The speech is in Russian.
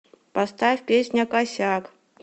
поставь песня косяк